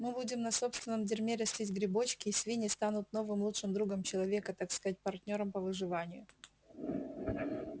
мы будем на собственном дерьме растить грибочки и свиньи станут новым лучшим другом человека так сказать партнёром по выживанию